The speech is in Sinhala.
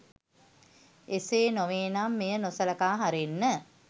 එසේ නොවෙනම් මෙය නොසළකා හරින්න